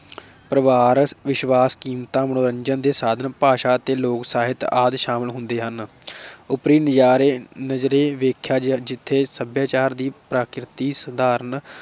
ਪਰਿਵਾਰ, ਵਿਸ਼ਵਾਸ, ਕੀਮਤਾਂ, ਮਨੋਰੰਜਨ ਦੇ ਸਾਧਨ, ਭਾਸ਼ਾ ਅਤੇ ਲੋਕ ਸਾਹਿਤ ਆਦਿ ਸ਼ਾਮਲ ਹੁੰਦੇ ਹਨ । ਉਪਰੀ ਨਜਾਰੇ ਨਜ਼ਰੇ ਵੇਖਿਆ ਜਿਥੇ ਸਭਿਆਚਾਰ ਦੀ ਪ੍ਰਕਿਰਤੀ ਸਧਾਰਨ